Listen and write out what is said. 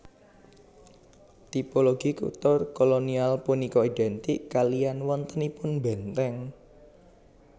Tipologi kutha kolonial punika idèntik kaliyan wontenipun bèntèng